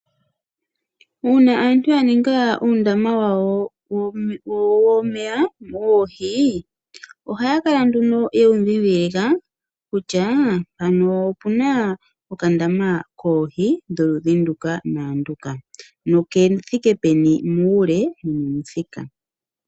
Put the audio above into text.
Uuna aantu ya ninga uundama wawo womeya woohi ohaya kala yewu ndhidhilika kutya mpano ope na okandama koohi dholudhi nduka naanduka nokethike peni muule nomomuthika.